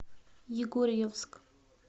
егорьевск